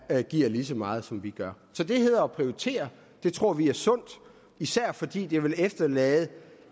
der giver lige så meget som vi gør så det hedder at prioritere det tror vi er sundt især fordi det vil efterlade